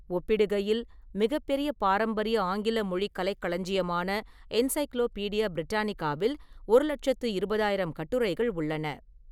ஒப்பிடுகையில், மிகப் பெரிய பாரம்பரிய ஆங்கில-மொழி கலைக்களஞ்சியமான என்சைக்ளோபீடியா பிரிட்டானிகாவில் ஒரு லெட்சத்து இருபதாயிரம் கட்டுரைகள் உள்ளன.